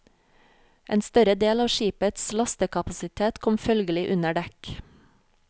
En større del av skipets lastekapasitet kom følgelig under dekk.